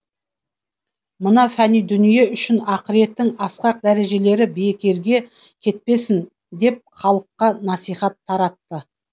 мына фәни дүние үшін ақиреттің асқақ дәрежелері бекерге кетпесін деп халыққа насихат таратты